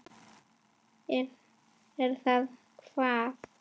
Er það hvað.